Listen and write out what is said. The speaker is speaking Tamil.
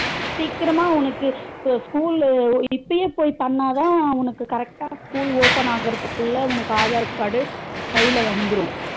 சீக்கிராமா உனக்கு இப்ப school லு இப்பயே போய் பண்ணாத உனக்கு correct டா school open ஆகுறதுக்குள்ள உனக்கு aadhar card கைல வந்துரும்